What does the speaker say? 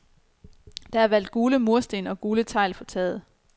Der er valgt gule mursten og gule tegl på taget.